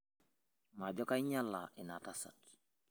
majo kainyiala ina tasat